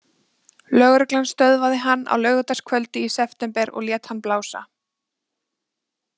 Lögreglan stöðvaði hann á laugardagskvöldi í september og lét hann blása.